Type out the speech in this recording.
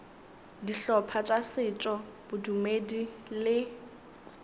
dihlopha tša setšo bodumedi le